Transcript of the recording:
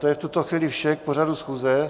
To je v tuto chvíli vše k pořadu schůze.